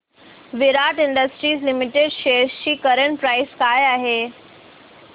विराट industries limited shares ची current price काय आहे